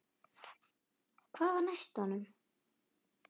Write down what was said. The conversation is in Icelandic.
Hvað var næst honum?